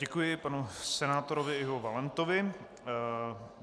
Děkuji panu senátorovi Ivu Valentovi.